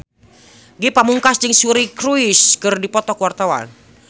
Ge Pamungkas jeung Suri Cruise keur dipoto ku wartawan